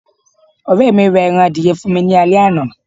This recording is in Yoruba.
ọrẹ mi ra eran adìye fún mi ni ale àná